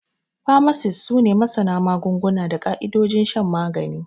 Famasis su ne masana magunguna da ƙaidojin shan magani.